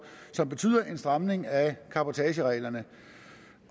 som betyder en stramning af cabotagereglerne